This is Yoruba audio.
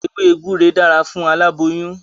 Ewé gbúre dára fún aláboyún.